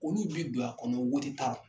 Olu bi don a kɔnɔ taarɔ.